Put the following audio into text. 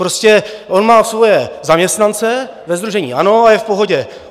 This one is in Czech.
Prostě on má svoje zaměstnance ve sdružení ANO a je v pohodě.